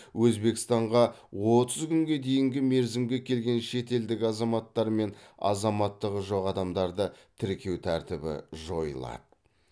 өзбекстанға отыз күнге дейінгі мерзімге келген шетелдік азаматтар мен азаматтығы жоқ адамдарды тіркеу тәртібі жойылады